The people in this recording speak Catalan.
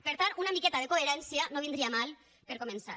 per tant una miqueta de coherència no vindria mal per començar